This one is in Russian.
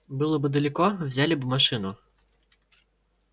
было бы далеко взяли бы машину